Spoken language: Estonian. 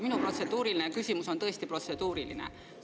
Minu protseduuriline küsimus on tõesti protseduuriline.